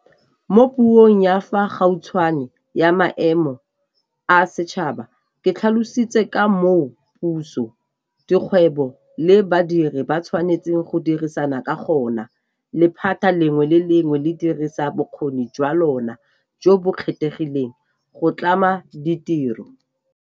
Mo Puong ya fa gautshwane ya Maemo a Setšhaba, ke tlhalositse ka moo puso, dikgwebo le badiri ba tshwanetseng go dirisana ka gona, lephata lengwe le lengwe le dirisa bokgoni jwa lona jo bo kgethegileng, go tlhama ditiro.